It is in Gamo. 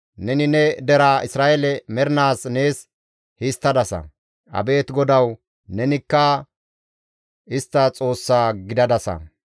Neni ne deraa Isra7eele mernaas nees histtadasa; abeet GODAWU nenikka istta Xoossa gidadasa.